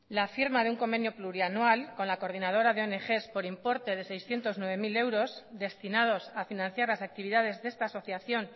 la firma de un convenio plurianual con la coordinadora de ongs por importe de seiscientos nueve mil euros destinados a financiar las actividades de esta asociación